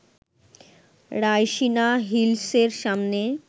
রাইসিনা হিলসের সামনে